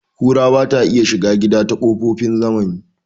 Ƙura bata iya shiga gida ta kokofin zamani